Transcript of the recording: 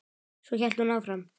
Svo hélt hún áfram